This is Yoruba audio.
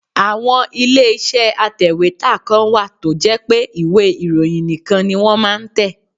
Àwọn ilé iṣẹ́ atèwétà kan wà tó jẹ́ pé ìwé ìròyìn nìkan ni wọ́n máa ń tẹ.